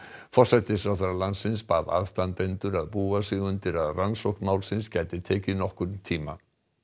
forsætisráðherra landsins bað aðstandendur að búa sig undir að rannsókn málsins gæti tekið nokkurn tíma